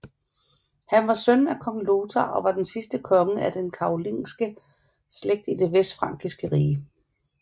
Han var søn af Kong Lothar og var den sidste konge af den karolingiske slægt i Det Vestfrankiske Rige